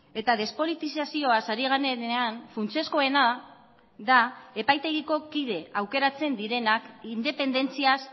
eta despolitizazioaz ari garenean funtsezkoena da epaitegiko kide aukeratzen direnak independentziaz